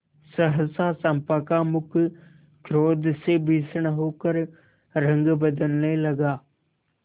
सहसा चंपा का मुख क्रोध से भीषण होकर रंग बदलने लगा